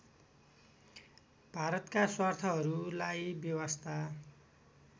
भारतका स्वार्थहरूलाई बेवास्ता